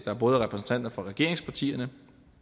andre partier